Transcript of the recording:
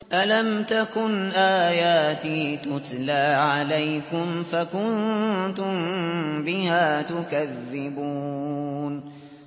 أَلَمْ تَكُنْ آيَاتِي تُتْلَىٰ عَلَيْكُمْ فَكُنتُم بِهَا تُكَذِّبُونَ